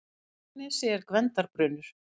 Í Arnarnesi er Gvendarbrunnur.